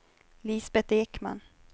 Lisbeth Ekman